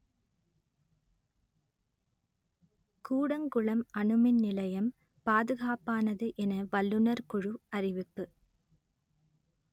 கூடங்குளம் அணுமின் நிலையம் பாதுகாப்பானது என வல்லுநர் குழு அறிவிப்பு